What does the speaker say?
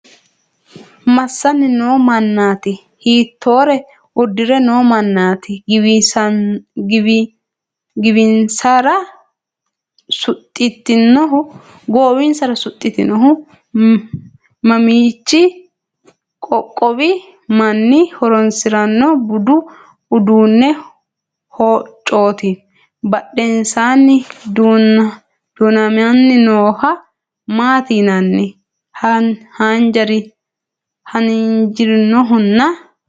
Massanni noo mannaati? Hiittoore uddire noo mannaati? Goowinsara suxxinohu mamiichi qoqqowi manni horoonsiranno budu uduunni hoccooti? Badhensaanni du'namanni noohaa maati yinanni? Haanjirinohana?